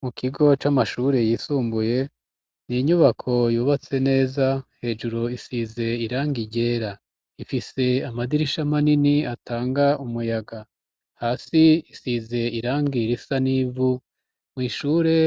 Mu kigo c'amashure yisumbuye ni inyubako yubatse neza; hejuru isize irangi ryera . Ifise amadirisha manini atanga umuyaga. Hasi isize irangi risa n'ivu; mw' ishure